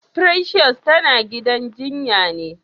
Precious tana gidan jinyan ne?